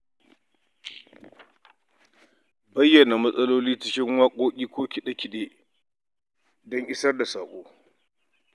Bayyana matsalolin cikin waƙoƙi ko kide-kide don isar da saƙo.